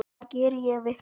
Hvað geri ég vitlaust?